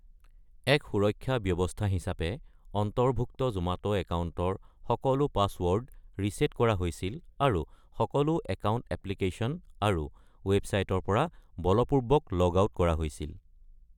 এক সুৰক্ষা ব্যৱস্থা হিচাপে, অন্তৰ্ভুক্ত জোমাটো একাউণ্টৰ সকলো পাছৱৰ্ড ৰিছেট কৰা হৈছিল, আৰু সকলো একাউণ্ট এপ্লিকেচন আৰু ৱেবছাইটৰ পৰা বলপূৰ্বক লগ আউট কৰা হৈছিল।